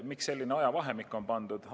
Miks selline ajavahemik on pandud?